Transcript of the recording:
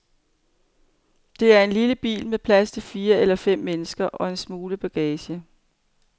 Det er en lille bil med plads til fire eller fem mennesker og en smule bagage.